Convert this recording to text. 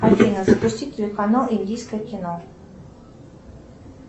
афина запусти телеканал индийское кино